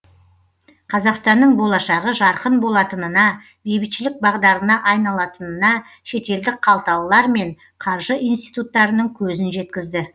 қазақстанның болашағы жарқын болатынына бейбітшілік бағдарына айналатынына шетелдік қалталылар мен қаржы институттарының көзін жеткізді